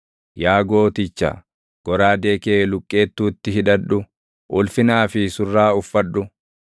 Yaa gooticha, goraadee kee luqqeettuutti hidhadhu; ulfinaa fi surraa uffadhu.